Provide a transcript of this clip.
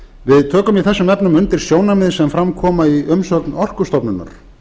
við tökum í þessum efnum undir sjónarmið sem fram koma í umsögn orkustofnunar